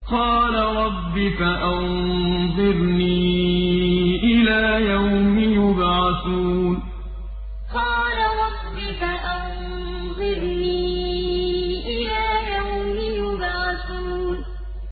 قَالَ رَبِّ فَأَنظِرْنِي إِلَىٰ يَوْمِ يُبْعَثُونَ قَالَ رَبِّ فَأَنظِرْنِي إِلَىٰ يَوْمِ يُبْعَثُونَ